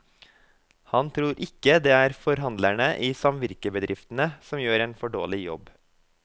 Han tror ikke det er forhandlerne i samvirkebedriftene som gjør en for dårlig jobb.